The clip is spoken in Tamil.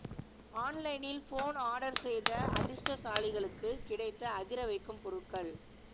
ஆன்லைனில் போன் ஆர்டர் செய்த அதிர்ஷ்டசாலிகளுக்கு கிடைத்த அதிர வைக்கும் பொருட்கள்